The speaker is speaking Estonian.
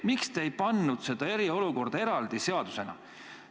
Miks te ei teinud seda eraldi seadusena?